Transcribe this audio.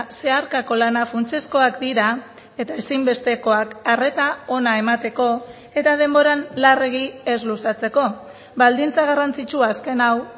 zeharkako lana funtsezkoak dira eta ezinbestekoak arreta ona emateko eta denboran larregi ez luzatzeko baldintza garrantzitsu azken hau